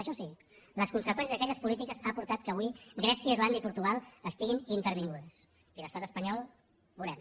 això sí les conseqüències d’aquelles polítiques han portat que avui grècia irlanda i portugal estiguin intervingudes i l’estat espanyol veurem